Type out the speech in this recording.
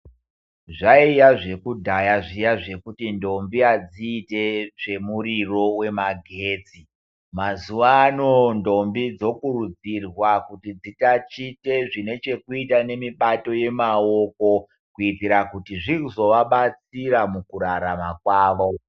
Zvaiya zvekudyaya zviyani kuti ndombi hadziiti zvemuriro wemagetsi mazuvaano ndombi dzikurudzirwa kuti dzitatiche zvine chokuita ne mubato wemaokokuitira kuti zvizova batsira mukurarama kwavo.